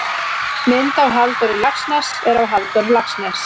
mynd af halldóri laxness er af halldór laxness